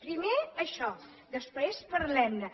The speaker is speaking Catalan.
primer això després parlem ne